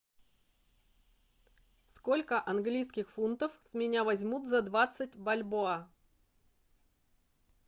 сколько английских фунтов с меня возьмут за двадцать бальбоа